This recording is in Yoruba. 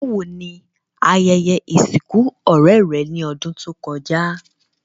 Bàwoni ayẹyẹ ìsìnkù ọ̀rẹ́ rẹ́ ni odùn to kojá?